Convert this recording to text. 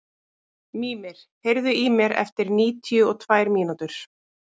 Mímir, heyrðu í mér eftir níutíu og tvær mínútur.